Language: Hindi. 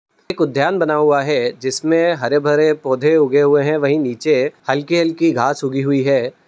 एक उद्यान बना हुआ है जिसमें हरे-भरे पौधे उगे हुए हैं वही नीचे हल्की-हल्की घास उगी हुई है।